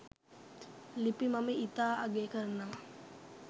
ලිපි මම ඉතා අගය කරනවා.